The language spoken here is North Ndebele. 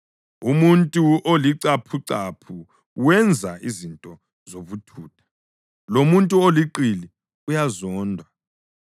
Umuntu olicaphucaphu wenza izinto zobuthutha, lomuntu oliqili uyazondwa.